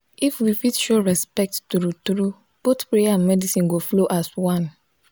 if we fit show respect true-true both prayer and medicine go flow as one.